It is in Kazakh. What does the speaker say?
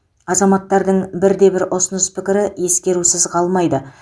азаматтардың бірде бір ұсыныс пікірі ескерусіз қалмайды